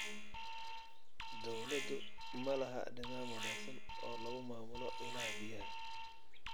Dawladdu ma laha nidaam wanaagsan oo lagu maamulo ilaha biyaha.